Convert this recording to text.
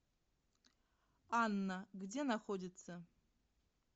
анна где находится